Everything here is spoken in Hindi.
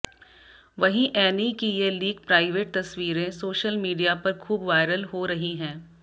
वहीं एनी की ये लीक प्राइवेट तस्वीरें सोशल मीडिया पर खूब वायरल हो रही हैं